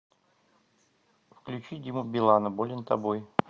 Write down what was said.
включить диму билана болен тобой